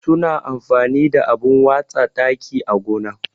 Su na amfani da abun watsa taki á gona.